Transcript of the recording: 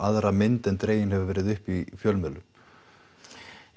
aðra mynd en dregin hefur verið upp í fjölmiðlum